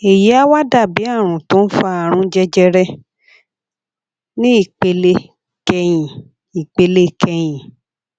èyí á wá dà bí àrùn tó ń fa àrùn jẹjẹrẹ ní ìpele kẹyìn ìpele kẹyìn